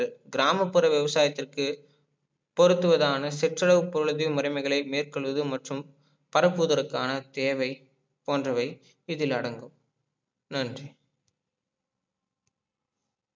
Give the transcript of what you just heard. கிராமப்புற விவசாயத்திற்கு பொருத்துவதான சிற்றளவு பொருளுதவி முறைமைகளை மேற்கொள்வது மற்றும் பரப்புவதற்கான தேவை போன்றவை இதில் அடங்கும் நன்றி